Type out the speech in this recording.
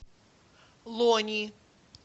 лони